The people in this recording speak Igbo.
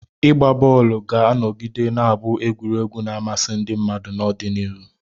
Ịgba bọọlụ ga-anọgide na-abụ egwuregwu na-amasị ndị mmadụ n'ọdịnihu.